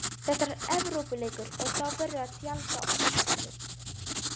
Þetta er Evrópuleikur og þá verður að tjalda öllu.